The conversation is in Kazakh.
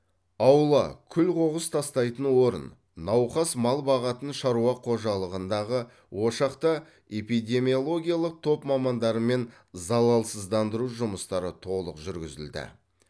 аула күл қоқыс тастайтын орын науқас мал бағатын шаруа қожалығындағы ошақта эпидемиологиялық топ мамандарымен залалсыздандыру жұмыстары толық жүргізілді